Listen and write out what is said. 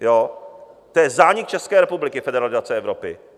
To je zánik České republiky, federalizace Evropy.